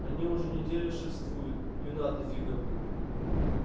они уже неделю шефствуют юннаты фиговы